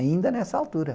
Ainda nessa altura.